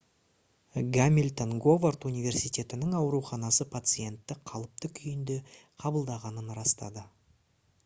гамильтон говард университетінің ауруханасы пациентті қалыпты күйінде қабылдағанын растады